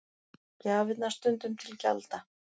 Gjafirnar stundum til gjalda